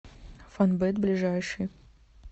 фонбет ближайший